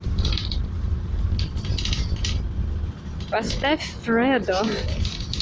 поставь фрэдо